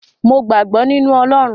Mo gbàgbọ́ nínu Ọlọrun.